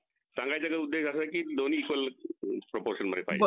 मग हा ह्याचे features चांगलेत असं